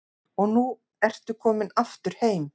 Og nú ertu komin aftur heim?